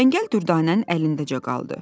Çəngəl dürdanənin əlindəcə qaldı.